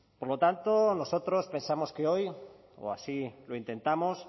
por lo tanto nosotros pensamos que hoy o así lo intentamos